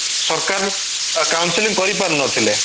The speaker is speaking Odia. ସରକାର council କରିପାରୁନଥିଲେ